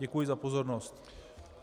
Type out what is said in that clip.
Děkuji za pozornost.